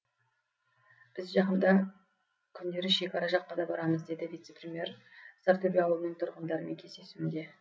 біз жақында күндері шекара жаққа да барамыз деді вице премьер сортөбе ауылының тұрғындарымен кездесуінде